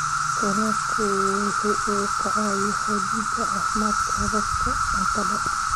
Kalluunku waxa uu caawiyaa xoojinta caafimaadka hababka cuntada.